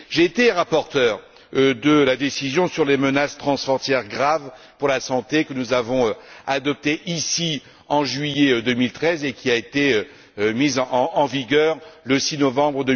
J'ai été rapporteur de la décision sur les menaces transfrontières graves pour la santé que nous avons adoptée ici, en juillet 2013, et qui a été mise en œuvre le 6 novembre